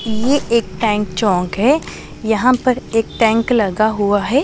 ये एक टैंक चौक है यहां पर एक टैंक लगा हुआ है।